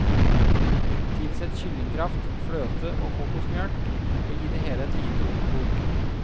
Tilsett kyllingkraft, fløte og kokosmelk, og gi det hele et lite oppkok.